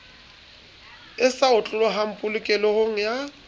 e sa otlolohang polokehong ya